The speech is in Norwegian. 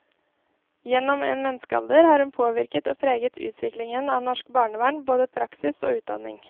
Gjennom en menneskealder har hun påvirket og preget utviklingen av norsk barnevern, både praksis og utdanning.